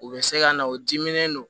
U bɛ se ka na u diminen don